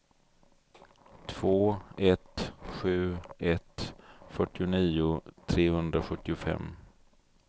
två ett sju ett fyrtionio trehundrasjuttiofem